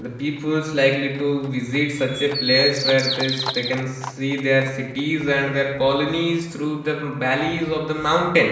the peoples likely to visit such a place where there is taken see their cities and their colonies through the valleys of the mountain.